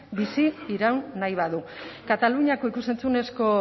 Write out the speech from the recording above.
bizi iraun nahi badu kataluniako ikus entzunezko